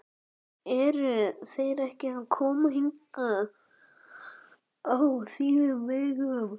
Eru þeir ekki að koma hingað á þínum vegum?